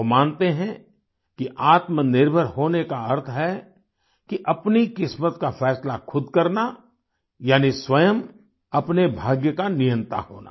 वो मानते हैं कि आत्मनिर्भर होने का अर्थ है कि अपनी किस्मत का फैसला खुद करना यानि स्वयं अपने भाग्य का नियंता होना